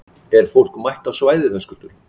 Er fólk mætt á svæðið, Höskuldur?